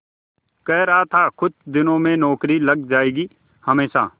कह रहा था कुछ दिनों में नौकरी लग जाएगी हमेशा